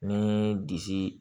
Ni disi